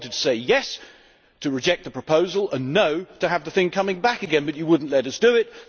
we wanted to say yesʼ to reject the proposal and noʼ to having the thing come back again, but you would not let us do it.